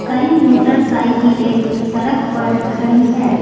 कई मोटरसाइकिलें सड़क पर खड़ी है।